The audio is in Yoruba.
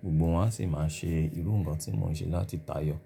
gbogbo wọn a sì máa ṣe irú ǹkan tí mo ṣe láti tayọ.